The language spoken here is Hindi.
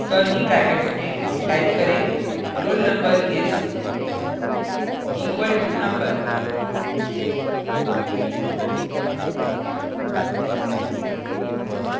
curly brackets में type करें roll _ number is equal to number